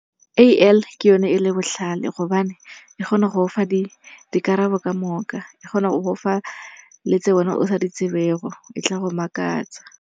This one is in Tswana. A_I ke yone e le botlhale gobane e kgona go go fa dikarabo ka moka. E kgona go go fa le tse wena o sa ditsebego, e tla go makatsa.